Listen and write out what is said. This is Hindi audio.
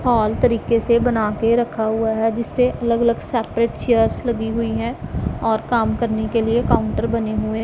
हॉल तरीके से बना के रखा हुआ है जिस पे अलग अलग सेपरेट चेयर्स लगी हुई हैं और काम करने के लिए काउंटर बने हुए--